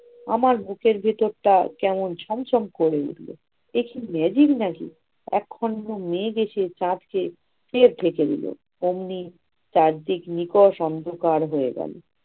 আমার বুকের ভেতরটা কেমন ছম ছম করে উঠল, একি magic নাকি একখন্ড মেঘ এসে চাঁদকে ফের ঢেকে দিল। ওমনি চারদিক নিকষ অন্ধকার হয়ে গেল।